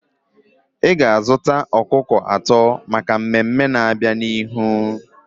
Ị ga-azụta ọkụkọ atọ maka mmemme na-abịa n'ihu.